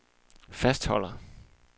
fastholder